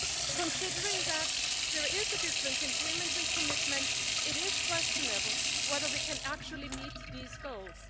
Given that there is a difference in payments and commitments, it is questionable whether we can actually meet these goals.